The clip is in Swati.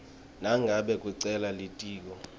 nangabe kucela litiko